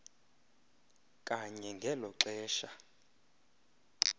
kanye ngelo xesha